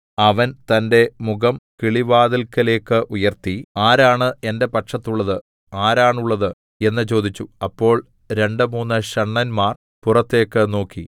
അവൻ തന്റെ മുഖം കിളിവാതില്‍ക്കലേക്ക് ഉയർത്തി ആരാണ് എന്റെ പക്ഷത്തുള്ളത് ആരാണുള്ളത് എന്ന് ചോദിച്ചു അപ്പോൾ രണ്ടുമൂന്ന് ഷണ്ഡന്മാർ പുറത്തേക്ക് നോക്കി